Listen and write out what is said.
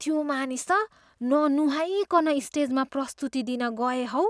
त्यो मानिस त ननुहाइकन स्टेजमा प्रस्तुति दिन गए हौ।